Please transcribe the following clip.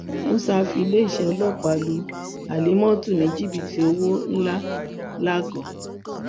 músà fi iléeṣẹ ọlọpàá lu halimot ní jìbìtì owó ńlá lago